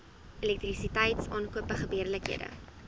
elektrisiteit aankope gebeurlikhede